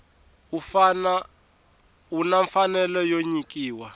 u na mfanelo yo nyikiwa